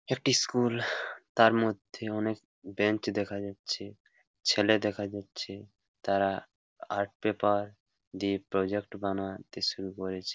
একটি স্কুল তার মধ্যে অনেক বেঞ্চ দেখা যাচ্ছে। ছেলে দেখা যাচ্ছে তারা আর্ট পেপার দিয়ে প্রজেক্ট বানাতে শুরু করেছে।